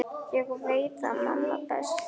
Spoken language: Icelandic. Ég veit það manna best.